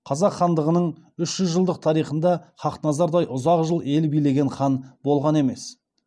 қазақ хандығының үш жүз жылдық тарихында хақназардай ұзақ жыл ел билеген хан болған емес